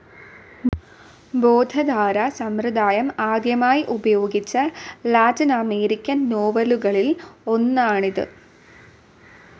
ബോധധാരാ സമ്പ്രദായം ആദ്യമായി ഉപയോഗിച്ച ലാറ്റിനമേരിക്കൻ നോവലുകളിൽ ഒന്നാണിത്.